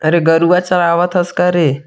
अरे गरूवा चरावत थस का रे।